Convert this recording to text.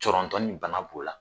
Cɔrɔntɔni bana b'o la